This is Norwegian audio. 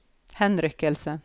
henrykkelse